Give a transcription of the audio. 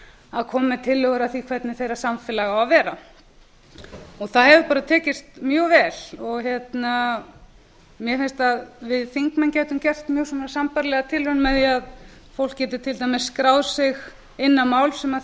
að koma með tillögur að því hvernig þeirra samfélag á að vera og það hefur bara tekist mjög vel og mér finnst að að við þingmenn gætum gert mjög svona sambærilega tilraun með því að fólk geti til dæmis skráð sig inn á mál sem